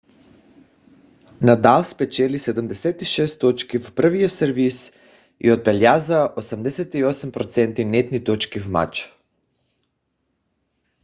надал спечели 76 точки в първия сервис и отбеляза 88% нетни точки в мача